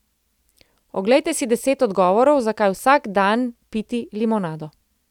Oglejte si deset odgovorov, zakaj vsak dan piti limonado.